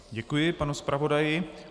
Děkuji panu zpravodaji.